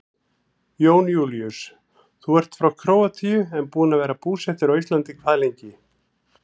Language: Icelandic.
Jón Júlíus: Þú ert frá Króatíu en búinn að vera búsettur á Íslandi hvað lengi?